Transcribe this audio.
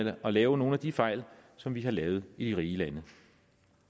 at lave nogle af de fejl som vi har lavet i de rige lande